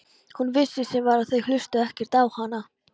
Hún vissi sem var að þau hlustuðu ekkert á hana.